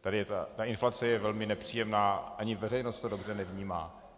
tady ta inflace je velmi nepříjemná, ani veřejnost to dobře nevnímá.